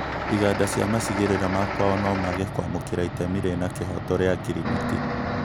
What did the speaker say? Iganda cia macigĩrĩra ma kwao nomage kwamũkĩra itemi rĩna kĩhooto rĩa ngirimiti